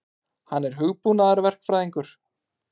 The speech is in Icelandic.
Hann er hugbúnaðarverkfræðingur.